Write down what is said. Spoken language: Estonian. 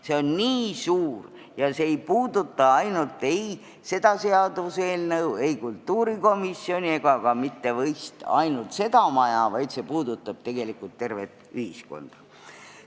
See on nii suur, see ei puuduta ainult kõnealust seaduseelnõu, kultuurikomisjoni ega ka mitte ainult seda maja, vaid puudutab tegelikult tervet ühiskonda.